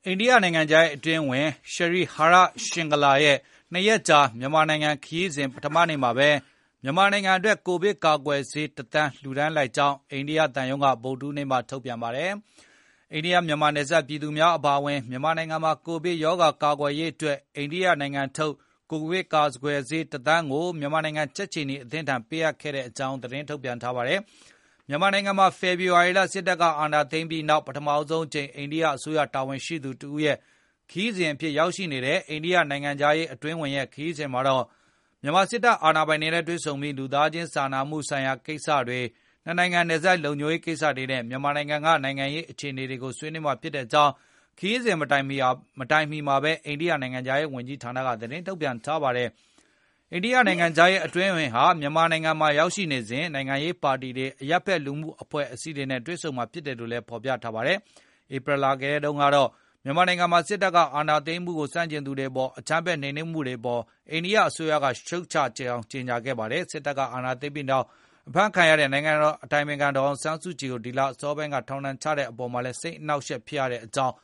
ိန္ဒိယနိုင်ငံခြားရေး အတွင်းဝန် Shri Harsh Vardhan Shringla ရဲ့ ၂ ရက်ကြာ မြန်မာနိုင်ငံ ခရီးစဉ် ပထမနေ့မှာပဲ မြန်မာနိုင်ငံအတွက် ကိုဗစ်ကာကွယ်ဆေး ၁ သန်း လှူဒါန်းလိုက်ကြောင်း အိန္ဒိယသံရုံးက ဗုဒ္ဓဟူးနေ့မှာပဲ သတင်းထုတ်ပြန်ပါတယ်။ အိန္ဒိယမြန်မာနယ်စပ် ပြည်သူများအပါအဝင် မြန်မာနိုင်ငံမှာ ကိုဗစ်ရောဂါ ကာကွယ်ရေးအတွက် အိန္ဒိယနိုင်ငံထုတ် ကိုဗစ်ကာကွယ်ဆေး ၁ သန်းကို မြန်မာနိုင်ငံ ကြက်ခြေနီအသင်းထံ ပေးအပ်ခဲ့ကြောင်း သတင်းထုတ်ပြန်ခဲ့တာပါ။ မြန်မာနိုင်ငံမှာ ဖေဖေါ်ဝါရီလ စစ်တပ်ကအာဏာသိမ်းပြီးနောက် ပထမဆုံးအကြိမ် အိန္ဒိယအစိုးရတာဝန်ရှိသူတဦးရဲ့ ခရီးစဉ်အဖြစ် ရောက်ရှိနေတဲ့ အိန္ဒိယနိုင်ငံခြားရေး အတွင်းဝန်ရဲ့ ခရီးစဉ်မှာတော့ မြန်မာစစ်အာဏာပိုင်တွေနဲ့ တွေ့ဆုံပြီး၊ လူသားချင်း စာနာမှုဆိုင်ရာ ကိစ္စတွေ ၂ နိုင်ငံနယ်စပ် လုံခြုံရေး ကိစ္စတွေနဲ့ မြန်မာနိုင်ငံက နိုင်ငံရေးအခြေအနေတွေကို ဆွေးနွေးမှာဖြစ်ကြောင်း ခရီးစဉ်မတိုင်ခင်မှာပဲ အိန္ဒိယနိုင်ငံခြားရေးဝန်ကြီးဌာနက သတင်းထုတ်ပြန်ထားပါတယ်။ အိန္ဒိယနိုင်ငံခြားရေးအတွင်းဝန်ဟာ မြန်မာနိုင်ငံမှာရောက်ရှိစဉ် နိုင်ငံရေးပါတီတွေ၊ အရပ်ဖက်လူမှုအဖွဲ့အစည်းတွေနဲ့ တွေ့ဆုံမှာဖြစ်တယ်လို့လည်း ဖော်ပြထားတာပါ။ ဧပြီလထဲမှာတုန်းကတော့ မြန်မာနိုင်ငံမှာ စစ်အာဏာသိမ်းမှုကို ဆန့်ကျင်သူတွေအပေါ် အကြမ်းဖက်နိုမ်နင်းမှုတွေအပေါ် အိန္ဒိယအစိုးရာက ရှုတ်ချကြောင်းကြေညာခဲ့ပါတယ်။ စစ်တပ်က အာဏာသိမ်းပြီးနောက်ပိုင်း ဖမ်းဆီးခံထားရတဲ့ နိုင်ငံတော်အတိုင်ပင်ခံ ပုဂ္ဂိုလ်ဒေါ်အောင်ဆန်းစုကြည်ကို ဒီလအစောပိုင်းက ထောင်ဒဏ်ချမှတ်လိုက်တဲ့အပေါ်မှာလည်း စိတ်အနှောက်အယှက် ဖြစ်ရကြောင်း